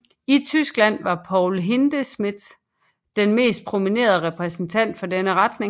I Tyskland var Paul Hindemith den mest prominente repræsentant for denne retning